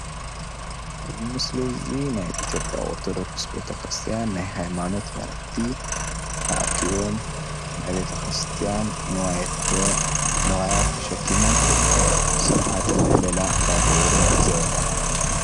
እዚ ምስሊ እዚ ናይ ኢትዮጵያ ኦርቶዶክስ ቤተ ክርስትያን ናይ ሃይማኖት መራሕቲ ተኣኪቦም ናይ ቤተ ክርስትያን ንዋየ ንዋያት ተሸኪሞም ስርዓተ ምህልላ እንዳገበሩ ንዕዘብ ኣለና።